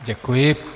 Děkuji.